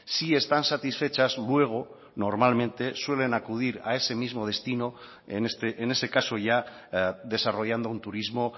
si están satisfechas luego normalmente suelen acudir a ese mismo destino en ese caso ya desarrollando un turismo